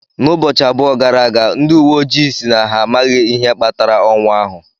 N'ubọchị abụọ gara aga, ndị uwe ojii si na amaghị ihe kpatara ọnwụ ahụ.